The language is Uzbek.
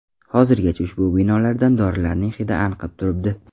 Hozirgacha ushbu binolardan dorilarning hidi anqib turibdi.